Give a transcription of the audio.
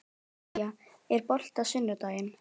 Kía, er bolti á sunnudaginn?